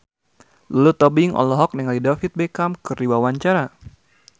Lulu Tobing olohok ningali David Beckham keur diwawancara